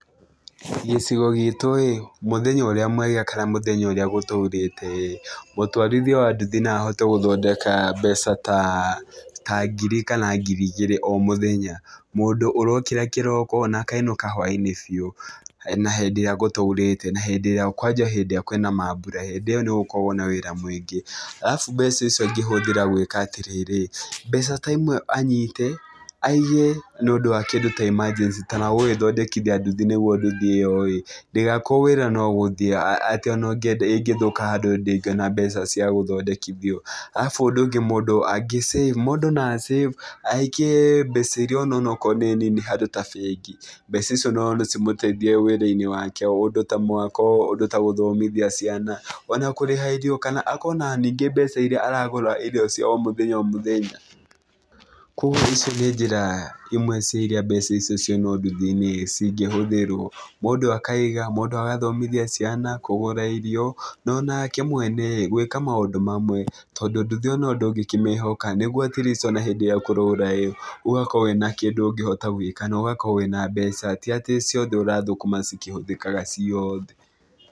Gĩcigo gitũ-ĩ, mũthenya ũrĩa mwega kana mũthenya ũrĩa gũtũrĩte-ĩ, mũtwarithia wa nduthi no ahote gũthondeka mbeca ta ngiri kana ngiri igĩrĩ o mũthenya. Mũndũ ũrokĩra kĩroko na akainũka hwainĩ biũ, na hĩndĩ ĩrĩa gũtaurĩte na hĩndĩ ĩria kwanja hĩndĩ ĩrĩa kwĩna maambura, hĩndĩ ĩyo no ũkorwo na wĩra mwĩngĩ. Alafu mbeca ici angĩhuthĩra gwĩka atĩrĩrĩ, mbeca ta imwe anyite, aige na ũndũ wa kerĩ ta emergency ta wa gũgĩthondekithia nduthi nĩguo nduthi ĩyo-ĩ ndĩgakorwo wĩra no gũthiĩ atĩ ona ũngĩenda ĩngĩthũka handũ ndĩgĩona mbeca cia gũthondekithio. Alafu ũndũ ũngĩ mũndũ angĩ- save mũndũ no a- save, aikie mbeca iria ona onokwro nĩ nini handũ ta bengi. Mbeca icio na cimũteithie wĩra-inĩ wake, ũndũ ta mwako, ũndũ ta gũthomithia ciana, ona kũrĩha irio kana akorwo na ningĩ mbeca iria aragũra irio cia o mũthenya o mũthenya. Kũguo icio nĩ njĩra imwe cia iria mbeca icio ciauma nduthi-inĩ cingĩ hũthĩrwo. Mũndũ akaiga, mũndũ agathomithia ciana, kũgũra irio, onake mwene-ĩ gwĩka maũndũ mamwe ,tondũ nduthi o nayo ndũngĩkĩmĩhoka, nĩguo atleast ona hĩndĩ ĩrĩa kũraura-ĩ, ũgakorwo wĩ na kĩndũ ũngĩhota gwĩka, na ũgakorwo wĩ na mbeca, ti atĩ ciothe ũrathũkũma cikĩhũthĩkaga ciothe.